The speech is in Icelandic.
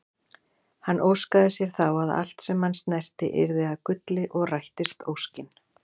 Hann óskaði sér þá að allt sem hann snerti yrði að gulli og rættist óskin.